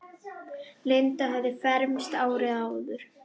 Linda hafði fermst árið áður.